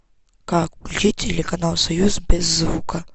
как включить телеканал союз без звука